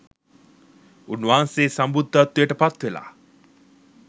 උන්වන්සේ සම්බුද්ධත්වයට පත්වෙලා